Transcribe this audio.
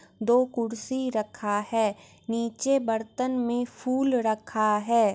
दो कुर्सी रखा है नीचे बर्तन में फूल रखा है।